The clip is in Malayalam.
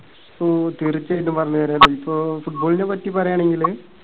ഓ തീർച്ചയായിട്ടും പറഞ്ഞുതരാല്ലോ. ഇപ്പോ football നെ പറ്റിപറയാണെങ്കില്